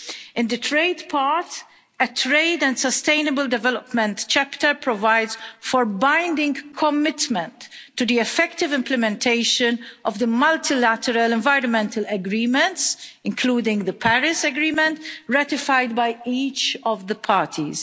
In the trade part, a trade and sustainable development chapter provides for binding commitment to the effective implementation of the multilateral environmental agreements including the Paris Agreement ratified by each of the parties.